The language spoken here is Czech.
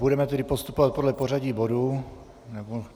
Budeme tedy postupovat podle pořadí bodů.